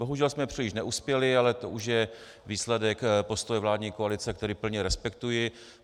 Bohužel jsme příliš neuspěli, ale to už je výsledek postoje vládní koalice, který plně respektuji.